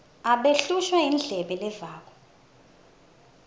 abehlushwa yindlebe levako